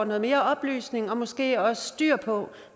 noget mere oplysning og måske også styr på